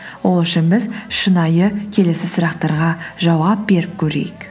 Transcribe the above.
ол үшін біз шынайы келесі сұрақтарға жауап беріп көрейік